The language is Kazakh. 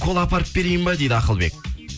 кола апарып берейін ба дейді ақылбек